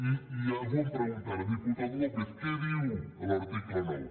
i algú em pregunta ara diputat lópez què diu l’article nou